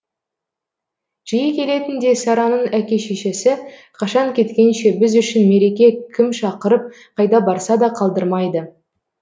жиі келетін де сараның әке шешесі қашан кеткенше біз үшін мереке кім шақырып қайда барса да қалдырмайды